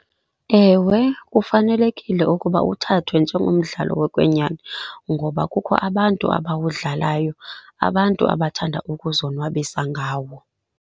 Ewe kufanelekile ukuba uthathwe njengomdlalo wokwenyani ngoba kukho abantu abawudlalayo, abantu abathanda ukuzonwabisa ngawo.